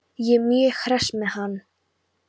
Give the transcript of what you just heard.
Ég er mjög hress með hann.